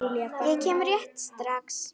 Ég kem rétt strax.